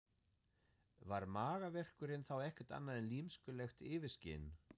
Var magaverkurinn þá ekkert annað en lymskulegt yfirskin?